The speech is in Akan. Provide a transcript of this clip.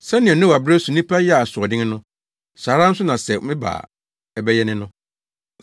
“Sɛnea Noa bere so nnipa yɛɛ asoɔden no, saa ara nso na sɛ meba a ɛbɛyɛ ne no.